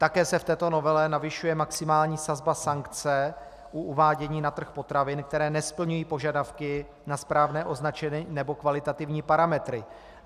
Také se v této novele navyšuje maximální sazba sankce u uvádění na trh potravin, které nesplňují požadavky na správné označení nebo kvalitativní parametry.